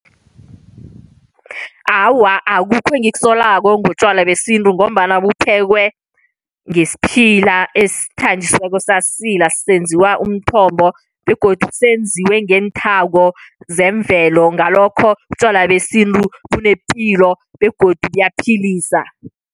Awa, akukho engikusolako ngotjwala besintu ngombana buphekwe ngesiphila esithanjisiweko, sasilwa, senziwa umthombo. Begodu senziwe ngenthako zemvelo. Ngalokho utjwala besintu bunepilo begodu buyaphilisa.